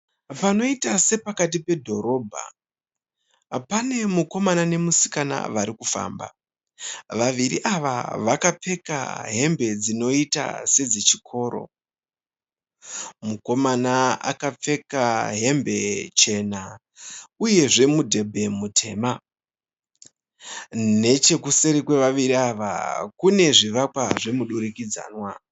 Panoita sepakati pedhorobha, pane mukomana nemusikana varikufamba. Vaviri ava vakapfeka hembe dzinoita sedzechikoro. Mukomana akapfeka hembe chena. Uyezve mudhembe mutema. Nechekuseri kwevaviri aya kune zvivakwa zvemudurikidzanwa.